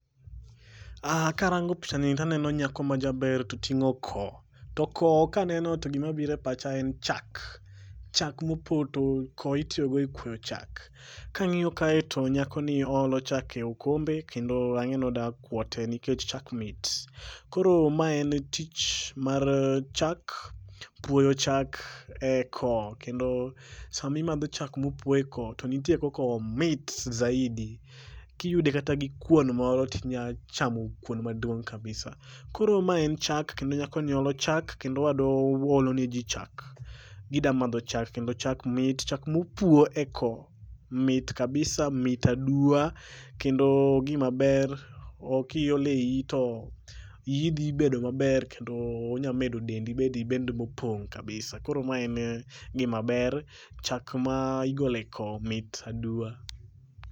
Karango picha ni taneno nyaka majaber toting'o ko. To koo kaneno to gimabiro e pacha en chak, chak mopoto, koo itiyogo e puoyo chak. Kang'iyo kae to nyakoni oolo chak ei okombe kendo ang'e ni oda kwote nikech chak mit. Koro ma en tich mar chak, puoyo chak e koo kendo sami madho chak mopuo e koo to nitie kakomit zaidi. Kiyude kata gi kuon moro tinya chamo kuon maduong' kabisa. Koro ma en chak kendo nyakoni olo chak kendo olo ne ji chak ,gida madho chak kendo chak mit, chak mopuo e koo mit kabisa mit aduwa kendo gimaber kiolo e iyi to iyi dhi bedo maber kendo nya medo dendi bedi dend mopong' kabisa, koro mae en gimaber chak ma igolo e koo mit aduwa.